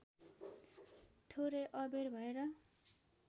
थोरै अबेर भएर